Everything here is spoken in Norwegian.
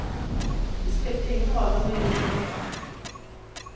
Det spilte ingen rolle om jeg gjorde noe galt.